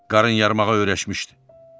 Qarın yarmağa öyrəşmişdi.